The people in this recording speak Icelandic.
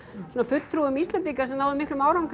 svona fulltrúum Íslendinga sem náðu miklum árangri